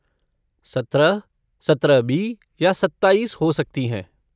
सत्रह, सत्रह बी या सत्ताईस हो सकती हैं।